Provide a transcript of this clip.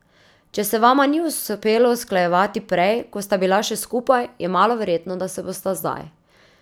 Če se vama ni uspelo usklajevati prej, ko sta bila še skupaj, je malo verjetno, da se bosta zdaj.